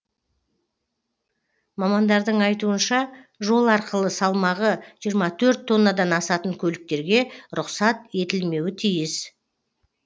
мамандардың айтуынша жол арқылы салмағы жиырма төрт тоннадан асатын көліктерге рұқсат етілмеуі тиіс